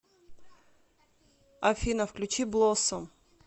афина включи блоссом